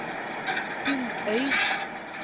Sundøy